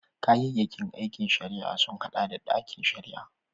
Kayayyakin aikin shari'a sun haɗa da ɗakin shari'a